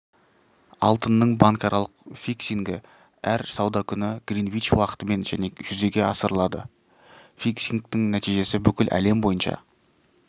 алтынның банкаралық фиксингі әр сауда күні гринвич уақытымен және жүзеге асырылады фиксингтің нәтижесі бүкіл әлем бойынша